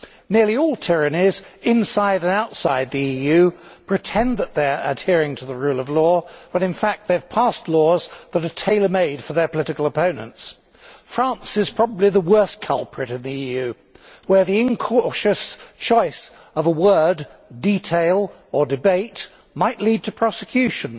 Nearly all tyrannies inside and outside the EU pretend that they are adhering to the rule of law but in fact they have passed laws which are tailor made for their political opponents. France is probably the worst culprit in the EU, where the incautious choice of a word, detail or debate might lead to prosecution,